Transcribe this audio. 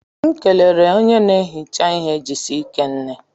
M kelere onye na ehicha ihe Jisike nne